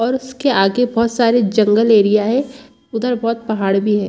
और उसके आगे बहुत सारे जंगल एरिया है उधर बहुत पहाड़ भी है।